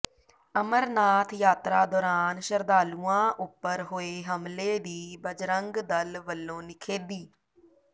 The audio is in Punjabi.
ਅਮਰਨਾਥ ਯਾਤਰਾ ਦੌਰਾਨ ਸ਼ਰਧਾਲੂਆਂ ਉੱਪਰ ਹੋਏ ਹਮਲੇ ਦੀ ਬਜਰੰਗ ਦਲ ਵੱਲੋਂ ਨਿਖੇਧੀ